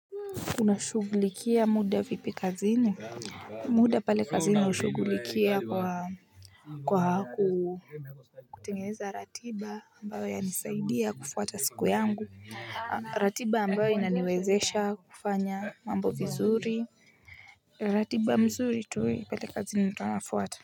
Una shugulikia muda vipi kazini? Muda pale kazini hushughulikia kwaa kwa kuu kutengeza ratiba ambayo yanisaidia kufuata siku yangu aah. Ratiba ambayo inaniwezesha kufanya mambo vizuri. Ratiba mzuri tu i pale kazi ni nafuata.